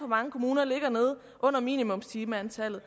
mange kommuner ligger nede under minimumstimetallet